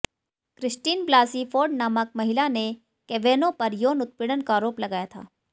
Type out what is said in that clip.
Christine Blasey Ford नामक महिला ने कैवेनॉ पर यौन उत्पीड़न का आरोप लगाया था